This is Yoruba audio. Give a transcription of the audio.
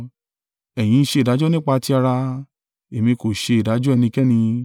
Ẹ̀yin ń ṣe ìdájọ́ nípa ti ara; èmi kò ṣe ìdájọ́ ẹnikẹ́ni.